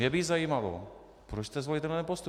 Mě by zajímalo, proč jste zvolili tento postup?